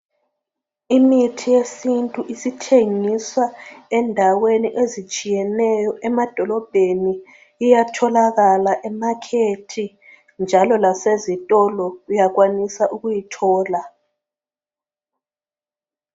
Imithi yesintu isithengiswa endaweni ezitshiyeneyo emadolobheni iyatholakala emakhethi njalo lasezitolo uyakwanisa ukuyithola.